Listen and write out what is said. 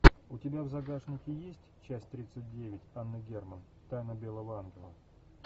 у тебя в загашнике есть часть тридцать девять анна герман тайна белого ангела